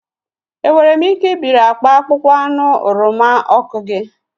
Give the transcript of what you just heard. Enwere m ike ibiri akpa akpụkpọ anụ oroma ọkụ gi?